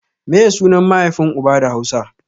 Meye sunan mahaifin uba da hausa?